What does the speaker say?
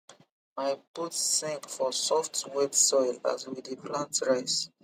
my boot sink for soft wet soil as we dey plant rice